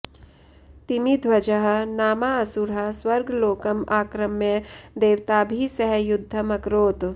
तिमिध्वजः नामा असुरः स्वर्गलोकम् आक्रम्य देवताभिः सह युद्धम् अकरोत्